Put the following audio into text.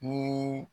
Ni